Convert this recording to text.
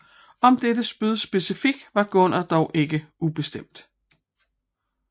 Om dette spyd specifikt var Gungner er dog ikke ubestemt